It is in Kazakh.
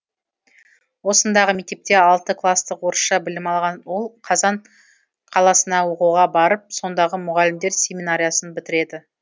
осындағы мектепте алты кластық орысша білім алған ол қазан қаласына оқуға барып сондағы мұғалімдер семинариясын бітіреді